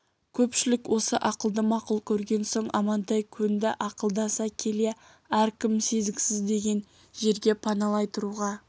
көпшілік осы ақылды мақұл көрген соң амантай көнді ақылдаса келе әркім сезіксіз деген жерге паналай тұруға